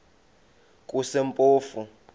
kusempofu